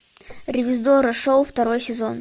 ревизорро шоу второй сезон